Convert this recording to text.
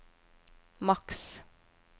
maks